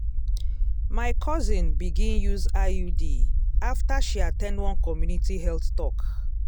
my cousin begin use iud after she at ten d one community health talk.